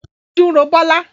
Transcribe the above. Ojú ń ro Bola